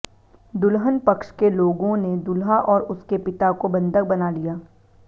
दुल्हन पक्ष के लोगों ने दूल्हा और उसके पिता को बंधक बना लिया